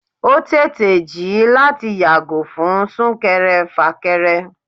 o tèté jí láti yàgò fún súnkèré-fákérè